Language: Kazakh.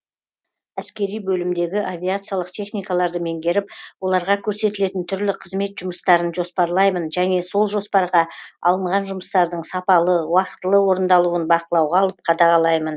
әскери бөлімдегі авиациялық техникаларды меңгеріп оларға көрсетілетін түрлі қызмет жұмыстарын жоспарлаймын және сол жоспарға алынған жұмыстардың сапалы уақытылы орындалуын бақылауға алып қадағалаймын